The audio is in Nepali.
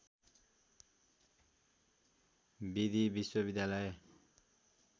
विधि विश्वविद्यालय